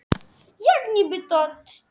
Jóhann rak svo lestina skömmu eftir stríð.